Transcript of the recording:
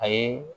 A ye